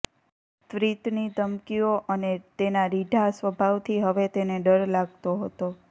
ત્વ્રીતની ધમકીઓ અને તેના રીઢા સ્વભાવથી હવે તેને ડર લાગતો હતો